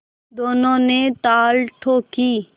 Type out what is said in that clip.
दोनों ने ताल ठोंकी